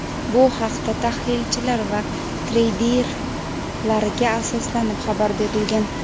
Bu haqda tahlilchilar va treyderlarga asoslanib xabar berilgan.